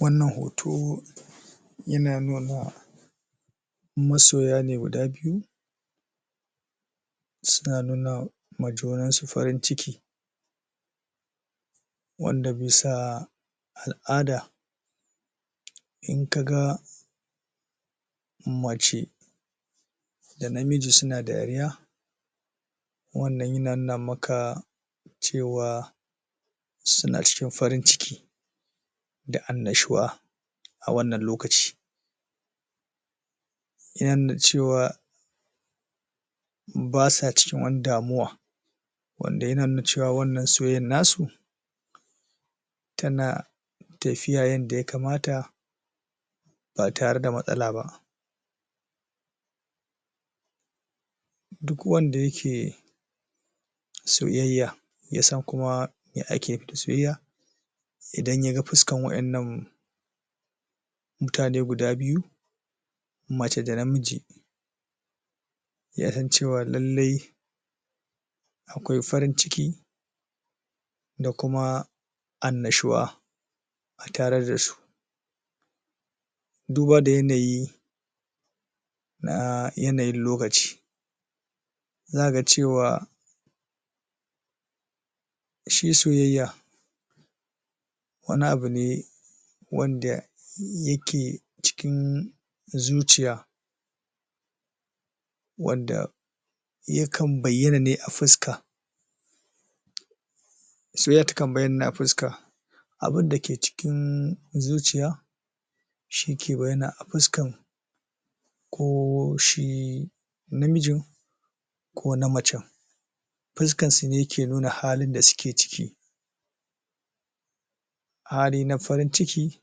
wannan hoto yana da masoya ne guda biyu suna nuna ma junansu farin ciki wanda bisa al'ada inka ga mace da namiji suna dariya wannan yana nuna maka cewa suna cikin farin ciki da annishuwa a wannan lokaci yana nuna cewa ba sa cikin wani damuwa wanda yana nuna cewa wannan soyayyar nasu tana tafiya yanda ya kamata ba tare da matsala ba duk wanda yake soyayya yasan kuma me ake nufi da soyayya idan yaga fuskar wa innan mutane guda byu mace da namiji yasan cewa lallai akwai farin ciki da kuma annushuwa a tare dasu duba da yanayi na yanayin lokaci zaka ga cewa shi soyayya wani abu ne wanda yake cikin zuciya wanda yakan baiyana ne a fuska soyayya takan baiyana ne a fuska abunda ke cikin zuciya shike baiyana a fuskan ko shi namijin ko na macan fuskansu ne yake nuna halin da suke ciki hali na farin ciki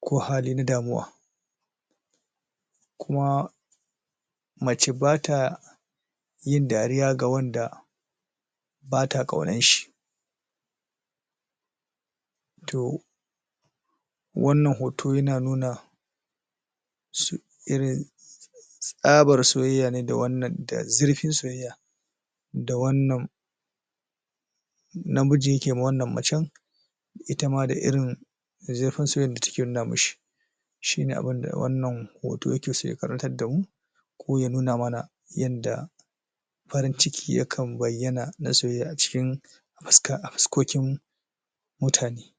ko hali na damuwa kuma mace batayin dariya ga wanda bata ƙaunanshi to wannan hoto yana nuna su irin tsabar soyaya ne da zurfin soyayya da wannan namiji yake ma wannan macan ita ma da irin zurfin soyayyar da take nuna mishi shine abunda wannan hoto yakeso ya karantar damu ko ya nuna mana yanda farin ciki yakan baiyana na soyayya a cikin fuskoƙin mutane